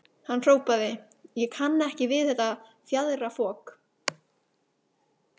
Hann hrópaði: Ég kann ekki við þetta fjaðrafok.